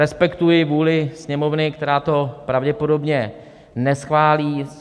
Respektuji vůli Sněmovny, která to pravděpodobně neschválí.